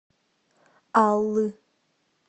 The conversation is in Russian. аллы